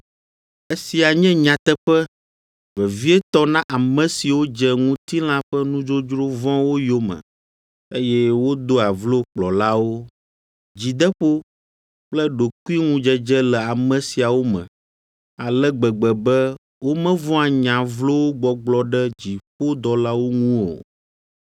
Esia nye nyateƒe, vevietɔ na ame siwo dze ŋutilã ƒe nudzodzro vɔ̃wo yome, eye wodoa vlo kplɔlawo. Dzideƒo kple ɖokuiŋudzedze le ame siawo me ale gbegbe be womevɔ̃a nya vlowo gbɔgblɔ ɖe dziƒodɔlawo ŋu o.